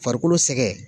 Farikolo sɛgɛn